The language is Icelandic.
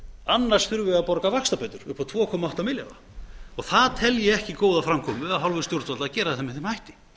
við að borga vaxtabætur upp á tvö komma átta milljarða það tel ég ekki góða framkomu af hálfu stjórnvalda að gera það með þeim hætti